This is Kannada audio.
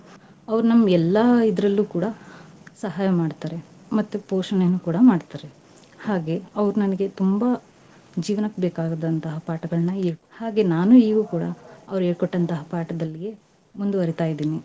ಅವ್ರು ನಮ್ಗೆಲ್ಲಾ ಇದ್ರಲ್ಲೂ ಕೂಡಾ ಸಹಾಯ ಮಾಡ್ತಾರೆ. ಮತ್ತೆ ಪೋಷಣೆನೂ ಕೂಡಾ ಮಾಡ್ತಾರೆ ಹಾಗೆ, ಅವ್ರ ನಂಗೆ ತುಂಬಾ ಜೀವ್ನಕ್ ಬೇಕಾದಂತ್ಹ ಪಾಠಗಳ್ನ ಹೇಳಿ ಹಾಗೆ ನಾನೂ ಈಗೂ ಕೂಡಾ ಅವ್ರ್ ಹೇಳ್ಕೊಂಟತ್ಹ ಪಾಠದಲ್ಲಿಯೇ ಮುಂದುವರಿತಾ ಇದಿನಿ.